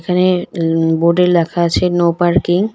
এখানে ন বোর্ডে লেখা আছে নো পার্কিং .